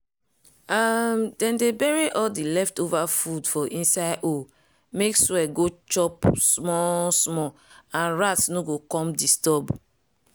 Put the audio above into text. um dem dey bury all di leftover food for inside hole make soil go chop small-small and rats no go come disturb.